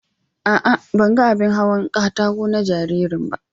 A'a, ban ga abin hawan kataƙo na jaririn ba.